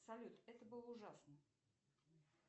салют это было ужасно